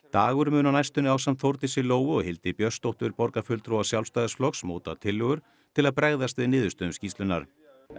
dagur muni á næstunni ásamt Þórdísi Lóu og Hildi Björnsdóttur borgarfulltrúa Sjálfstæðisflokks móta tillögur til að bregðast við niðurstöðum skýrslunnar